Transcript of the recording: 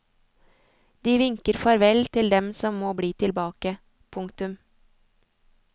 De vinker farvel til dem som må bli tilbake. punktum